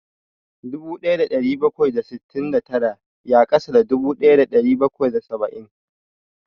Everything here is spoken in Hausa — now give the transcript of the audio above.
Dubu ɗaya da ɗari bakwai da sittin da tara ya ƙasa da dubu ɗaya da ɗari bakwai da saba'in